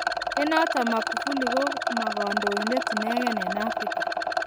Eng notok Magufuli ko ma kandoindet inegei eng Afrika.